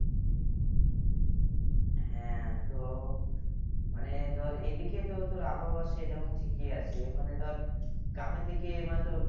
হ্যাঁ তো মানে ধর এদিকে তো তোর আবহাওয়া সে যেমন ঠিকই আছে মানে ধর গ্রামের দিকে মানে তোর